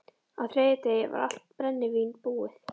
Á þriðja degi var allt brennivín búið.